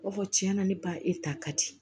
B'a fɔ cɛn na ne ba e ta ka di